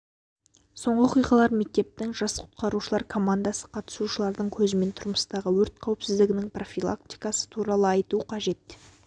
соңғы оқиғалар мектептің жас құтқарушылар командасы қатысушылардың көзімен тұрмыстағы өрт қауіпсіздігінің профилактикасы туралы айту қажет